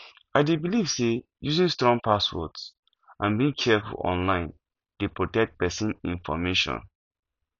i dey believe say using strong passwords and being careful online dey protect pesin information